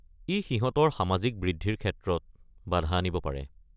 ই সিহঁতৰ সামাজিক বৃদ্ধিৰ ক্ষেত্ৰত বাধা আনিব পাৰে।